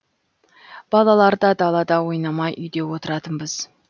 балалар да далада ойнамай үйде отыратынбыз